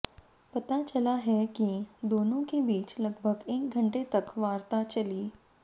पता चला है कि दोनों के बीच लगभग एक घंटे तक वार्ता चली